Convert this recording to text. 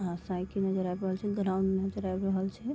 यहाँ साइकिल नजर आ रहल छे ग्राउंड नजर आ रहल छे।